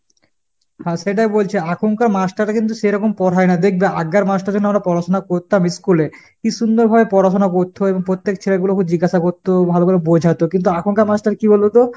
হ্যাঁ সেটাই বলছি। আখনকার master রা কিন্তু সেরকম পড়হায়ে না দেখবে, আগ্গের master যেমন আমরা পড়াশুনা করতাম ইস্কুলে কি সুন্দরভাবে পড়াশুনা করতো এবং পত্তেক ছেলেপুলে কে জিগাসা করতো, ভালো করে বোঝাতো। কিন্তু আখনকার master কি বলোতো?